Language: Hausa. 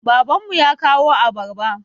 Baban mu ya kawo abarba.